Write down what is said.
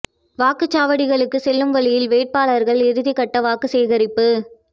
வாக்குச் சாவடிகளுக்கு செல்லும் வழியில் வேட்பாளா்கள் இறுதிக் கட்ட வாக்கு சேகரிப்பு